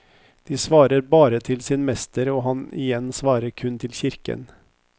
De svarer bare til sin mester og han igjen svarer kun til kirken.